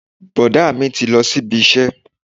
Bọ̀dá mi ti lọ sí ibi iṣẹ́